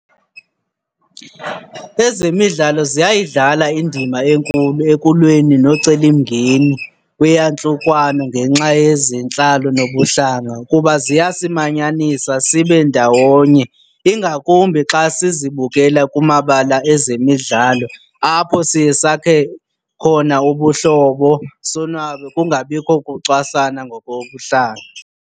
Ezemidlalo ziyayidlala indima enkulu ekulweni nomcelimngeni kweyantlukwano ngenxa yezentlalo nobuhlanga kuba ziyasimanyanisa sibe ndawonye, ingakumbi xa sizibukela kumabala ezemidlalo apho siye sakhe khona ubuhlobo, sonwabe kungabikho kucwasana ngokobuhlanga.